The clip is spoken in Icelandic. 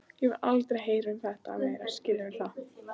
Ég vil aldrei heyra um þetta meira, skilurðu það?